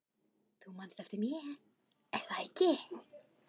Þú manst eftir mér, er það ekki?